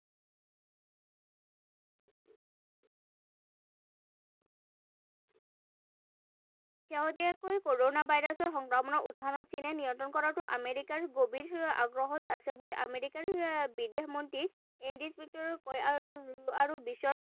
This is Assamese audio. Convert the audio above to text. শেহতীয়াকৈ কৰণা ভাইৰাছৰ সংক্ৰমণৰ উৎসসমূহ চীনে নিয়ন্ত্ৰণ কৰাটো আমেৰিকাৰ গভীৰ আগ্ৰহৰ আছে বুলি আমেৰিকাৰ বিদেশ মন্ত্ৰী কয়, আৰু বিশ্বৰ